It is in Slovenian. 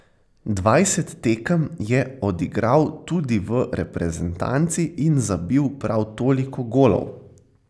Dvajset tekem je odigral tudi v reprezentanci in zabil prav toliko golov.